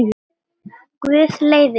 Guð leiði þig.